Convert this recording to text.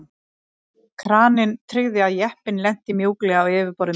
Kraninn tryggði að jeppinn lenti mjúklega á yfirborði Mars.